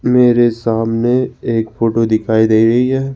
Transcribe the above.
मेरे सामने एक फोटो दिखाई दे रही है।